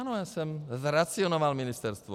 Ano, já jsem zracionalizoval ministerstvo.